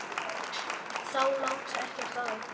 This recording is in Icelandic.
Þá lá ekkert á.